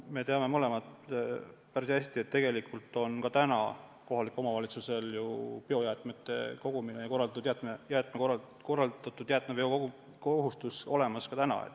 Me teame mõlemad päris hästi, et kohalikel omavalitsustel on ju biojäätmete kogumine ja jäätmeveo kohustus korraldatud ka praegu.